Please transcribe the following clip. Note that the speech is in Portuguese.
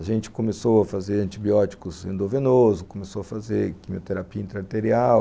A gente começou a fazer antibióticos endovenoso, começou a fazer quimioterapia intra-arterial,